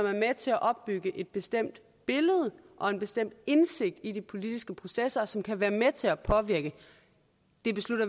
er med til at opbygge et bestemt billede af og en bestemt indsigt i de politiske processer som kan være med til at påvirke